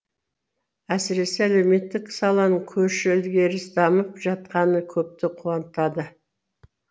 әсіресе әлеуметтік саланың көш ілгері дамып жатқаны көпті қуантады